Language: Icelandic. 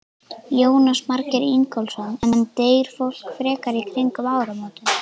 Jónas Margeir Ingólfsson: En deyr fólk frekar í kringum áramótin?